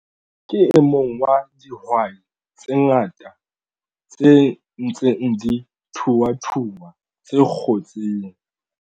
Ke e mong wa dihwai tse ngata tse ntseng di thuthua tse kgotseng.